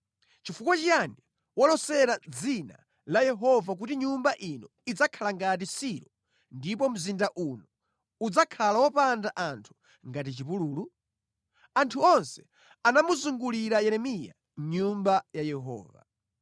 Chifukwa chiyani walosera mʼdzina la Yehova kuti Nyumba ino idzakhala ngati Silo ndipo mzinda uno udzakhala wopanda anthu ngati chipululu?” Anthu onse anamuzungulira Yeremiya mʼNyumba ya Yehova.